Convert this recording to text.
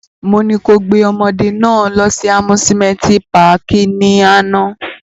Mo ni ko gbe awọn ọmọde náa lọ si amusimenti pààki ni ana!